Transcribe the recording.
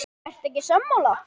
Ertu ekki sammála?